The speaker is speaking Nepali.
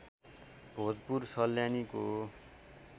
भोजपुर सल्यानीको